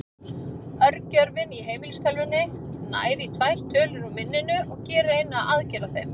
Örgjörvinn í heimilistölvunni nær í tvær tölur úr minninu og gerir eina aðgerð á þeim.